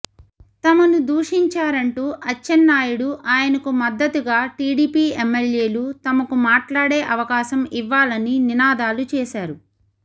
తమను దూషించారంటూ అచ్చెన్నాయుడు ఆయనకు మద్దతుగా టీడీపీ ఎమ్మెల్యేలు తమకు మాట్లాడే అవకావం ఇవ్వాలని నినాదాలు చేసారు